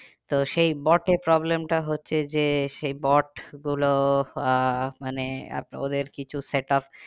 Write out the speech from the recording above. তো সেই bot এ problem টা হচ্ছে যে সেই bot গুলো আহ মানে ওদের কিছু setup